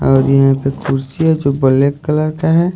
और यहां पे कुर्सी है जो ब्लैक कलर का है।